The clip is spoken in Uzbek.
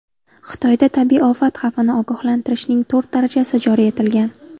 Xitoyda tabiiy ofat xavfini ogohlantirishning to‘rt darajasi joriy etilgan.